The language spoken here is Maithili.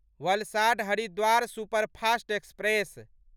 Valsad Haridwar superfast express